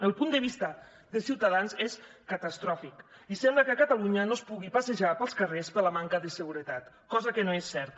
el punt de vista de ciutadans és catastròfic i sembla que a catalunya no es pugui passejar pels carrers per la manca de seguretat cosa que no és certa